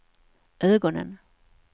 ögonen